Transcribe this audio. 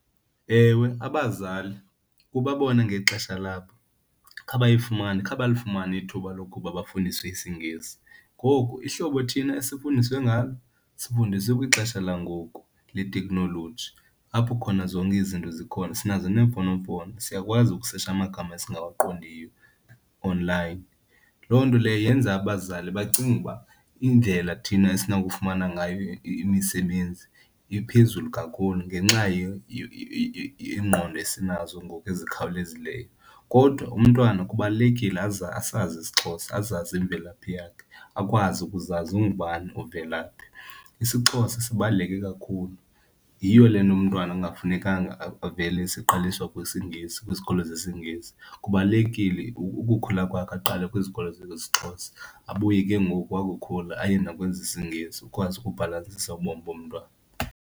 Ewe, abazali kuba bona ngexesha labo khabayifumane, khabalifumane ithuba lokuba bafundiswe isiNgesi ngoku ihlobo thina esifundiswe ngalo sifundiswe kwixesha langoku leteknoloji apho khona zonke izinto zikhona. Sinazo neemfonomfono, siyakwazi ukusetsha amagama esingawaqondiyo onlayini, loo nto leyo yenza abazali bacinge uba indlela thina esinokufumana ngayo imisebenzi iphezulu kakhulu ngenxa yeengqondo esinazo ngoku ezikhawulezileyo. Kodwa umntwana kubalulekile asazi isiXhosa, azazi imvelaphi yakhe, akwazi ukuzazi ungubani, uvela phi. IsiXhosa sibaluleke kakhulu, yiyo le nto umntwana kungafunekanga avele seqaliswa kwisiNgesi, kwizikolo zesiNgesi. Kubalulekile ukukhula kwakhe aqale kwizikolo zesiXhosa, abuye ke ngoku wakukhula aye nakwezesiNgesi ukwazi ukubhalansisa ubomi bomntwana.